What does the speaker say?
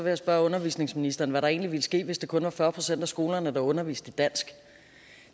jeg spørge undervisningsministeren hvad der egentlig ville ske hvis det kun var fyrre procent af skolerne der underviste i dansk